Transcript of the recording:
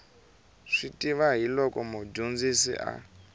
swi tiva hiloko mudyondzisi a